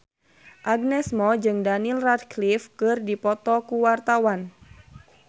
Agnes Mo jeung Daniel Radcliffe keur dipoto ku wartawan